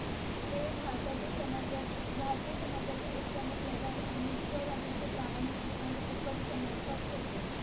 ते भारताचे समाज भारतीय समाजातील एक प्रमुख लढाऊ आणि स्वराज्याचे प्रारंभिक आणि उत्कट समर्थक होते